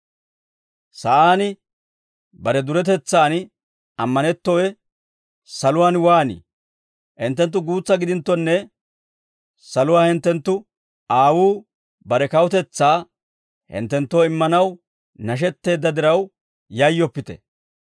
«Hinttenttu guutsa gidinttonne, saluwaa hinttenttu aawuu bare kawutetsaa hinttenttoo immanaw nashetteedda diraw yayyoppite.